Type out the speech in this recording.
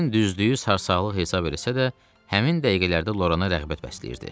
Kern düzlüyü sarsaqlıq hesab eləsə də, həmin dəqiqələrdə Lorana rəğbət bəsləyirdi.